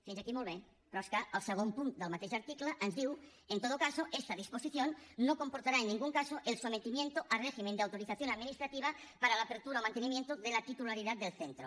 fins aquí molt bé però és que el segon punt del mateix article ens diu en todo caso esta disposición no comportará en ningún caso el sometimiento a régimen de autorización administrativa para la apertura o mantenimiento de la titularidad del centro